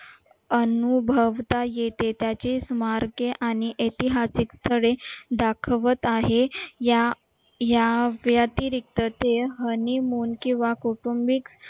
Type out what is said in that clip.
अनुभवता येते त्याचे स्मारके आणि ऐतिहासिक दाखवत आहे या या व्यतिरिक्त ते honeymoon किंवा कुटुंबिक